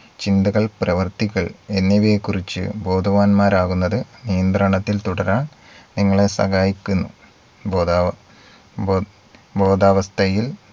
ചിന്തകൾ പ്രവർത്തികൾ എന്നിവയെ കുറിച് ബോധവാന്മാരാകുന്നത് നിയന്ത്രണത്തിൽ തുടരാൻ നിങ്ങളെ സഹായിക്കുന്നു. ബോധാവ ബോ ബോധാവസ്ഥയിൽ